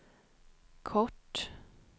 kort